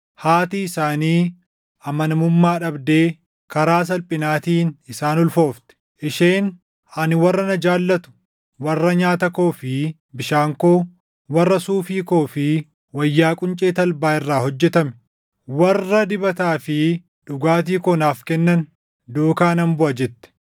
Haati isaanii amanamummaa dhabdee karaa salphinaatiin isaan ulfoofte. Isheen, ‘Ani warra na jaallatu, warra nyaata koo fi bishaan koo, warra suufii koo fi wayyaa quncee talbaa irraa hojjetame, warra dibataa fi dhugaatii koo naaf kennan duukaa nan buʼa’ jette.